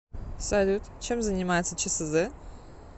салют чем занимается чсз